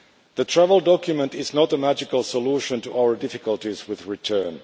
The travel document is not a magical solution to our difficulties with return.